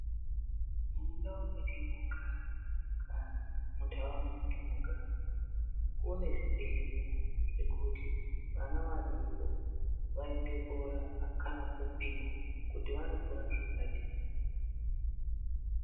Mundau matinogara kana munharaunda matinogara. Kune zvibhedhlera zvekuti vana vadoko vaende korapwa kana kupimwa kuti wanokura zvakadini.